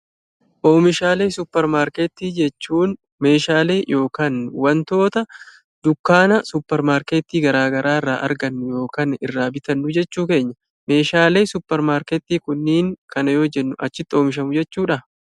Oomishaalee suuparmarkeetii jechuun meeshaalee yokan wantoota dukkaana suuparmarkeettii garaa garaa irraa argannu yookan irraa bitannuu jechuu keenya. Meeshaalee suuparmarkeetii kunniin kana yoo jennu achitti oomishamu jechuudhaa?